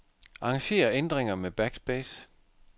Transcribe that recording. Arranger ændringer med backspace.